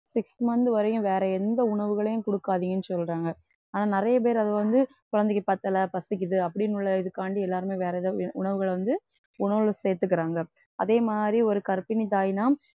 six month வரையும் வேற எந்த உணவுகளையும் குடுக்காதீங்கன்னு சொல்றாங்க. ஆனா நிறைய பேர் அதுவந்து குழந்தைக்கு பத்தல பசிக்குது அப்படின்னு உள்ள இதுக்காண்டி எல்லாருமே வேற ஏதாவது உணவுகளை வந்து உணவுல சேர்த்துக்கிறாங்க. அதே மாதிரி ஒரு கர்ப்பிணி தாய்னா